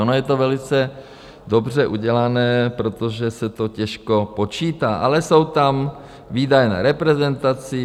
Ono je to velice dobře udělané, protože se to těžko počítá, ale jsou tam výdaje na reprezentaci.